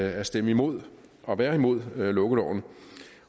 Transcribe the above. at stemme imod og være imod lukkeloven